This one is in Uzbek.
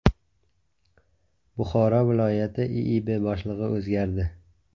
Buxoro viloyati IIB boshlig‘i o‘zgardi.